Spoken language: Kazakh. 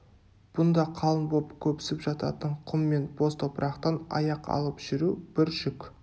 бұнда қалың боп көпсіп жататын құм мен боз топырақтан аяқ алып жүру бір жүк